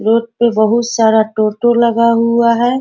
Road पे बहुत सारा टोटो लगा हुआ है।